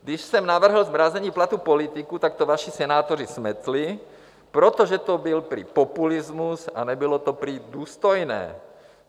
Když jsem navrhl zmrazení platů politiků, tak to vaši senátoři smetli, protože to byl prý populismus a nebylo to prý důstojné.